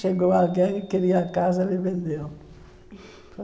Chegou alguém que queria a casa, ele vendeu.